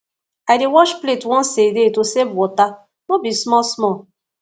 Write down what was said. i dey wash plate once a day to save water no be small small